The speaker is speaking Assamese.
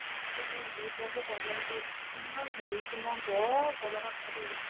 এইবোৰ uterus ৰ problem যে ইমান শুনিছো মই বৰ ভয় লগা কথা দেই